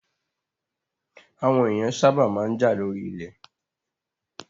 Àwọn èèyàn sábà máa ń jà lórí ilẹ̀